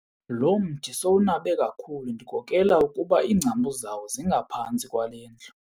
Lo mthi sowunabe kakhulu ndikokela ukuba iingcambu zawo zingaphantsi kwale ndlu.